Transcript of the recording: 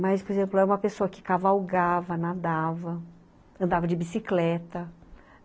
Mas, por exemplo, ela é uma pessoa que cavalgava, nadava, andava de bicicleta.